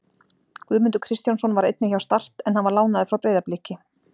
Guðmundur Kristjánsson var einnig hjá Start en hann var lánaður frá Breiðabliki.